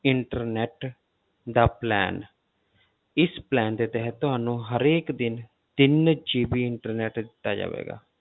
Internet ਦਾ plan ਇਸ plan ਦੇ ਤਹਿਤ ਤੁਹਾਨੂੰ ਹਰੇਕ ਦਿਨ ਤਿੰਨ GB internet ਦਿੱਤਾ ਜਾਵੇਗਾ।